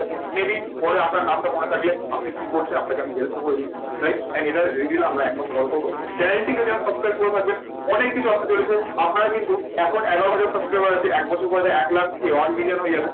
may be পরে আপনার নামটা মনে থাকলে, আপনি কি করছেন, আপনাকে আমি হেল্পও করে দিলাম। right and এটা রেডি হলে আমরা এক মাস পর করবো। চ্যানেলটিকে যারা সাবস্ক্রাইব করে রাখবেন অনেক কিছু আসতে চলেছে। আপনারা কিন্তু এখন এগারো হাজার সাবস্ক্রাইবার আছে। এক বছর পরে এটা এক লাখ কি one million হয়ে যাবে।